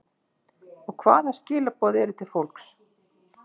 Og hvaða skilaboð eru til fólks?